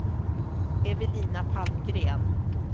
Evelina Palmgren